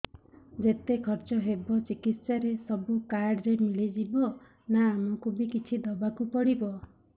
ଯେତେ ଖର୍ଚ ହେବ ଚିକିତ୍ସା ରେ ସବୁ କାର୍ଡ ରେ ମିଳିଯିବ ନା ଆମକୁ ବି କିଛି ଦବାକୁ ପଡିବ